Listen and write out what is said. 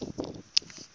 dingane